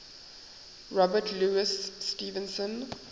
robert louis stevenson